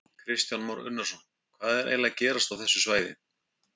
Kristján Már Unnarsson: Hvað er eiginlega að gerast á þessu svæði?